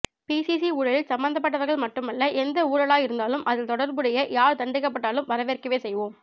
BCG ஊழலில் சம்பந்தப்பட்டவர்கள் மட்டுமல்ல எந்த ஊழலாயிருந்தாலும் அதில் தொடர்புடைய யார் தண்டிக்கப்பட்டாலும் வரவேற்கவே செய்வோம்